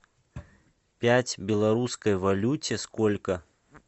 пять в белорусской валюте сколько